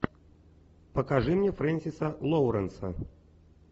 покажи мне френсиса лоуренса